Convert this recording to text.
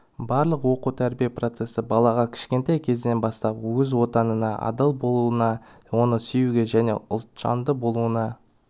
барлық оқу-тәрбие процесі балаға кішкентай кезінен бастап өз отанына адал болуына оны сүюге және ұлтжанды болуына